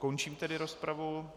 Končím tedy rozpravu.